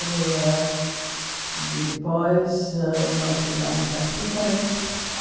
E depois nós chegamos aqui também.